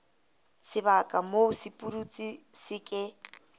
sebaka moo sepudutsi se ke